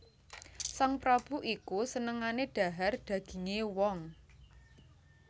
Sang prabu iku senengané dhahar dagingé wong